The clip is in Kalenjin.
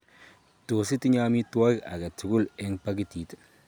Tos itinye amitwogik aketugul eng' pakitit